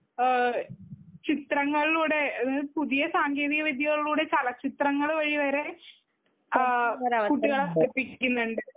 ആ ചിത്രങ്ങളിലൂടെ പുതിയ സാങ്കേതിക വിദ്ത്യയിലുടെ ചലച്ചിത്രങ്ങൾ വഴി വരെ കുട്ടികളെ പഠിപ്പിക്കുന്നുണ്ട്?